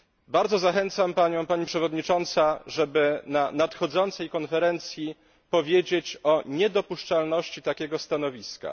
Bardzo zachęcam Panią, Pani Wiceprzewodnicząca, żeby na nadchodzącej konferencji powiedzieć o niedopuszczalności takiego stanowiska.